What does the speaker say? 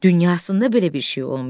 Dünyasında belə bir şey olmayıb.